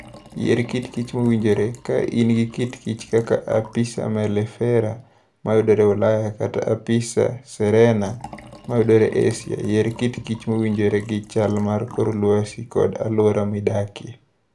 Yier Kit kich Mowinjore: Ka in gi kitkich kaka Apis mellifera (ma yudore Ulaya) kata Apis cerana (ma yudore Asia), yier kitkich mowinjore gi chal mar kor lwasi kod alwora midakie